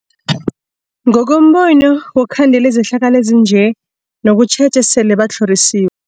Ngokombono wokukhandela izehlakalo ezinjalo kunokutjheja esele batlhorisiwe.